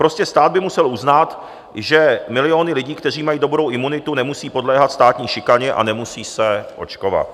Prostě stát by musel uznat, že miliony lidí, kteří mají dobrou imunitu, nemusí podléhat státní šikaně a nemusí se očkovat.